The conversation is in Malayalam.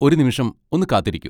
ഒരു നിമിഷം ഒന്ന് കാത്തിരിക്കൂ.